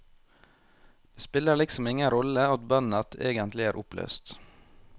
Det spiller liksom ingen rolle at bandet egentlig er oppløst.